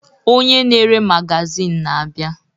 Onye na-ere magazịn na-abịa.